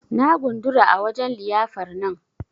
Na gundura a wajen liyyafar nan.